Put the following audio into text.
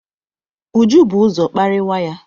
Uju bu ụzọ kparịwa ya.